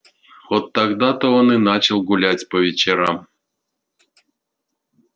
вот тогда то он и начал гулять по вечерам